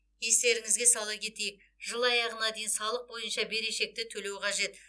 естеріңізге сала кетейік жыл аяғына дейін салық бойынша берешекті төлеу қажет